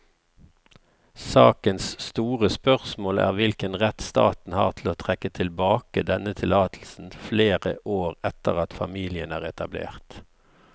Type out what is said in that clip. Sakens store spørsmål er hvilken rett staten har til å trekke tilbake denne tillatelsen flere år etter at familien er etablert.